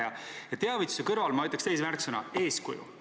Aga teavituse kõrval ma ütleks teise märksõna: eeskuju.